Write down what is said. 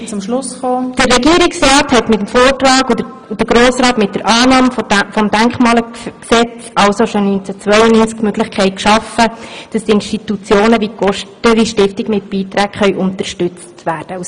» Der Regierungsrat hat mit dem Vortrag und der Grosse Rat mit der Annahme des Denkmalgesetzes also bereits 1999 die Möglichkeit geschaffen, dass Institutionen wie die Gosteli-Stiftung mit Beiträgen unterstützt werden können.